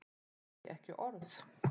Nei, ekki orð.